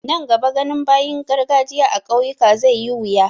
Nan gaba ganin bayin garkajiya a ƙauyuka zai yi wuya.